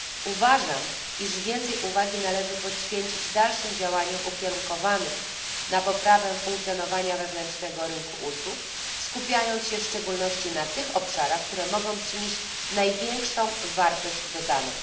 Uważam, iż więcej uwagi należy poświęcić dalszym działaniom ukierunkowanym na poprawę funkcjonowania wewnętrznego rynku usług, skupiając się w szczególności na tych obszarach, które mogą przynieść największą wartość dodaną.